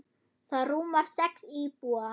Það rúmar sex íbúa.